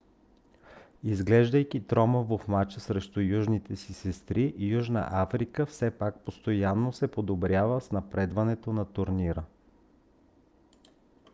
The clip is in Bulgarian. изглеждайки тромаво в мача срещу южните си сестри южна африка все пак постоянно се подобрява с напредването на турнира